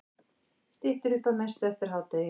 Styttir upp að mestu eftir hádegið